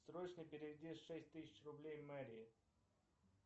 срочно переведи шесть тысяч рублей мэри